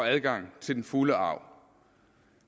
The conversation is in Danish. adgang til den fulde arv